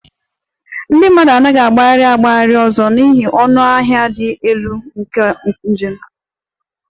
Ndị mmadụ anaghị agagharị agagharị ọzọ n'ihi ọnụ ahịa dị elu nke njem